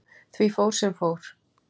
Því fór sem fór.